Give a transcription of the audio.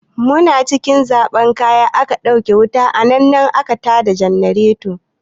Muna cikin zaɓan kaya aka ɗauke wuta nan da nan aka ta da jannareto.